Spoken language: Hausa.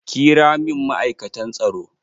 Ƙira min ma'aikatan tsaro!